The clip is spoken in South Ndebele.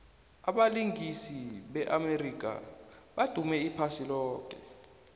abalingisi be amerika badume iphasi loke